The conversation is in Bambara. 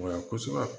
Wa kosɛbɛ